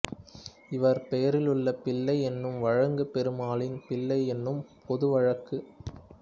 இவர் பெயரிலுள்ள பிள்ளை என்னும் வழங்கு பெருமாளின் பிள்ளை என்னும் பொதுவழக்கு